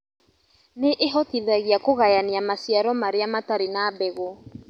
Nĩĩhotithagia kũgayania maciaro marĩa matarĩ na mbegũ